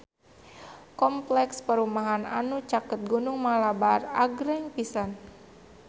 Kompleks perumahan anu caket Gunung Malabar agreng pisan